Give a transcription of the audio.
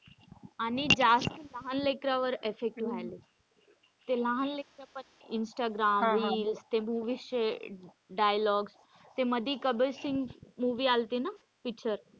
आणि जास्त लहान लेकरांवर effect व्हायलंय. ते लहान लेकरं पण इंस्टाग्राम reels ते movies चे dialogues ते कबीर सिंग movie आल्ती ना picture.